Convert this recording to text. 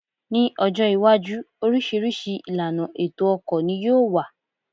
Ní ọjọ́ iwájú, oríṣiríṣi ìlànà ètò ọkọ̀ ní yóò wà